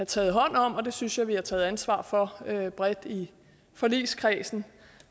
taget hånd om og jeg synes at vi har taget ansvar for det bredt i forligskredsen